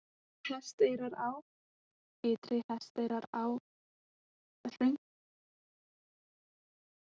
Innri-Hesteyrará, Ytri-Hesteyrará, Hrauntungusporður, Austmannsdalur